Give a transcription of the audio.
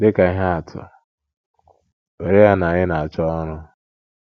Dị ka ihe atụ, were ya na ị na - achọ ọrụ.